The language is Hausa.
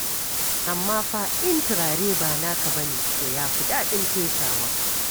Amma fa in turare ba naka ba ne, to ya fi daɗin fesawa.